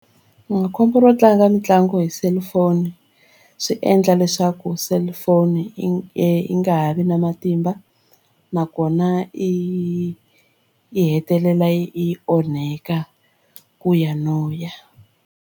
Khombo ro tlanga mitlangu hi cellphone swi endla leswaku cellphone i yi nga ha vi na matimba nakona i yi hetelela yi onheka ku ya no ya.